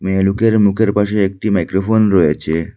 মেয়ে লোকের মুখের পাশে একটি মাইক্রোফোন রয়েছে।